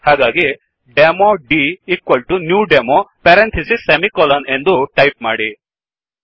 ಹಾಗಾಗಿ demo dnew demo parenthesis semicolon ಎಂದು type ಮಾಡಿ